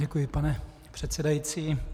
Děkuji, pane předsedající.